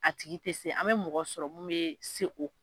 A tigi tɛ se an bɛ mɔgɔ sɔrɔ mun bɛ se o